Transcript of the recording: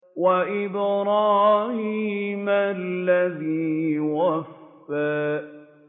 وَإِبْرَاهِيمَ الَّذِي وَفَّىٰ